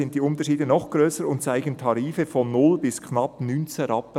] sind die Unterschiede noch grösser und zeigen Tarife von null bis knapp 19 Rp./kWh.